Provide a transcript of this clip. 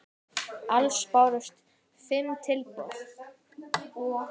Alls bárust fimm tilboð.